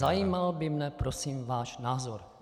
Zajímal by mě prosím váš názor.